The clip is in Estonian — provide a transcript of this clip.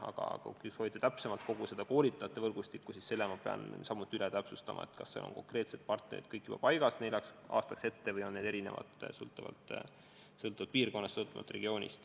Aga kui te soovite täpsemat infot kogu koolitajate võrgustiku kohta, siis ma pean üle täpsustama, kas konkreetsed partnerid on kõik juba neljaks aastaks ette paigas ja kas need on erinevad sõltuvalt piirkonnast.